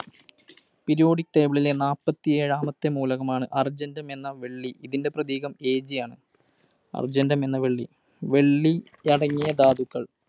Periodic table ലെ നാല്പത്തിയേഴാമത്തെ മൂലകമാണ് Argentum എന്ന വെള്ളി. ഇതിൻറെ പ്രതീകം Ag ആണ്. Argentum എന്ന വെള്ളി വെള്ളി അടങ്ങിയ ധാതുക്കൾ